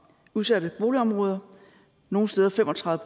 udsatte boligområder nogle steder fem og tredive